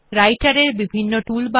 রাইটের এর বিভিন্ন টুল বার